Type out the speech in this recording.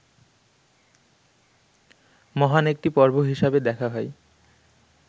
মহান একটি পর্ব হিসাবে দেখা হয়